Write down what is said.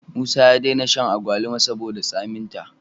Musa ya dena han akwaluma saboda tsamin ta